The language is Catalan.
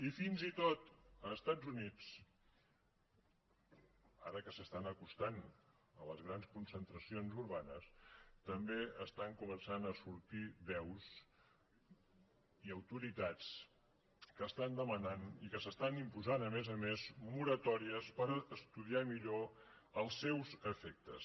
i fins i tot als estats units ara que s’estan acostant a les grans concentracions urbanes també comencen a sortir veus i autoritats que demanen i que s’estan imposant a més a més moratòries per estudiar millor els seus efectes